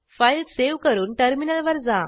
file save करून टर्मिनलवर जा